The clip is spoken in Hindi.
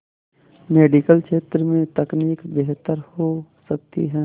मेडिकल क्षेत्र में तकनीक बेहतर हो सकती है